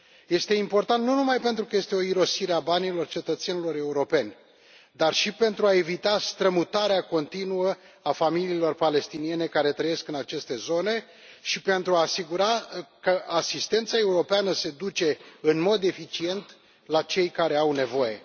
Este important, nu numai pentru că este o irosire a banilor cetățenilor europeni, dar și pentru a evita strămutarea continuă a familiilor palestiniene care trăiesc în aceste zone și pentru a asigura că asistența europeană se duce în mod eficient la cei care au nevoie.